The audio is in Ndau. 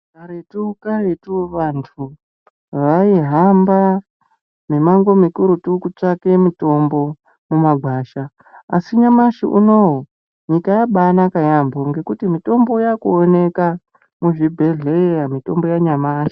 Karetu karetu vantu vai hamba mimango mu kurutu kutsvake mitombo mu magasa asi nyamashi unowu nyika yabai naka yambo ngekuti mitombo yaku oneka mu zvibhedhlera mitombo ya nyamashi.